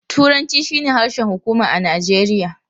Turanci shine harshen hukuma a Najeriya.